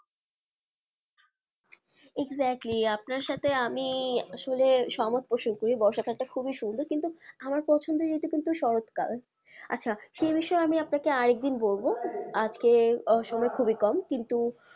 exactly আপনার সাথে আমি আসলে সমস্ত সুন্দর বর্ষাকালটা খুবই সুন্দর কিন্তু আমার পছন্দের ঋতু কিন্তু শরৎকাল আচ্ছা সে বিষয়ে আমি আপনাকে আর একদিন বলবো আজকে সময় খুবই কম কিন্তু,